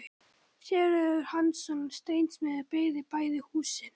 Sigurður Hansson steinsmiður byggði bæði húsin.